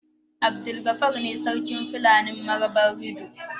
Abdulgafar ne sarkin Fulanin Marabarido.